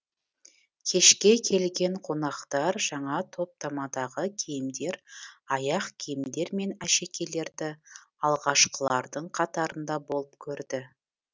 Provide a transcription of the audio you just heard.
кешке келген қонақтар жаңа топтамадағы киімдер аяқ киімдер мен әшекейлерді алғашқылардың қатарында болып көрді